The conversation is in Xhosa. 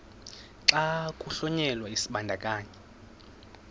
xa kuhlonyelwa isibandakanyi